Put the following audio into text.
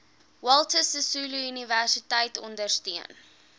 walter sisuluuniversiteit ondersteun